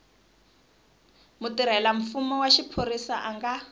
mutirhelamfumo wa xiphorisa a nga